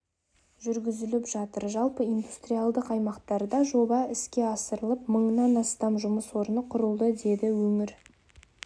жүргізіліп жатыр жалпы индустриялдық аймақтарда жоба іске асырылып мыңнан астам жұмыс орны құрылды деді өңір